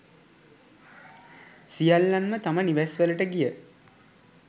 සියල්ලන්ම තම නිවෙස් වලට ගිය